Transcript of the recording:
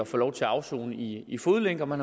få lov til at afsone i i fodlænke hvor